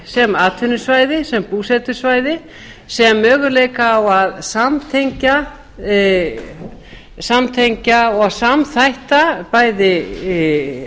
sem atvinnusvæði sem búsetusvæði sem möguleika á að samtengja og samþætta bæði